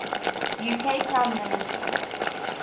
uk prime minister